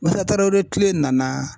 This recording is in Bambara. Musa Tarawere kile nana